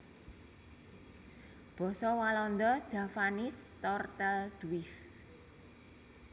Basa Walanda Javaanse Tortelduif